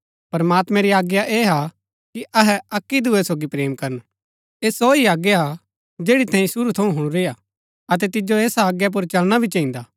प्रमात्मैं री आज्ञा ऐह हा कि अहै अक्की दूये सोगी प्रेम करन ऐह सो ही आज्ञा हा जैड़ी तैंई शुरू थऊँ हुणुरी हा अतै तिजो ऐसा आज्ञा पुर चलना भी चहिन्दा